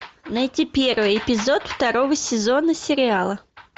найти первый эпизод второго сезона сериала